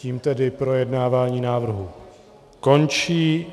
Tím tedy projednávání návrhu končí.